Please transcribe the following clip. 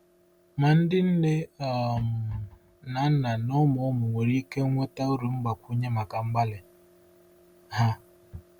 Ma ndị nne um na nna na ụmụ ụmụ nwere ike nweta uru mgbakwunye maka mgbalị ha.